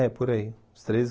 É, por aí. Uns treze